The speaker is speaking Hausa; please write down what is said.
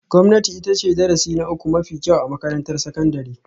Gwamnati ita ce darasi na uku mafi kyau a makarantar sakandare